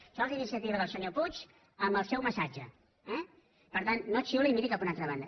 això és iniciativa del senyor puig amb el seu massatge eh per tant no xiuli i miri cap a una altra banda